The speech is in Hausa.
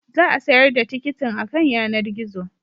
Za a sayar da tikitin akan yanar gizo